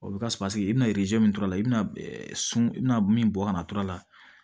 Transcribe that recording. O bɛ ka i bɛna min turu la i bɛna sun i bɛna min bɔ kana tɔrɔ la